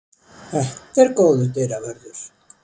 Þetta er góður dyravörður.